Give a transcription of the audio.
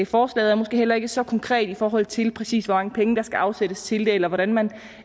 forslaget er måske heller ikke så konkret i forhold til præcis hvor mange penge der skal afsættes til det eller hvordan man